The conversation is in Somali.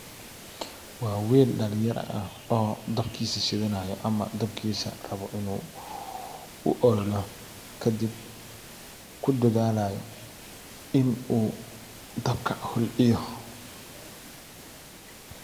Waa wiil dalin yara ah oo dabkiisa shidhanayo ama rabo dabkiisa inuu ololo kadib kudadhaalayo in u dabka holciyo.